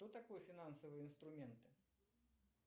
что такое финансовые инструменты